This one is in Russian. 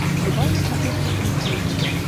врубай на смотрешке синергия тв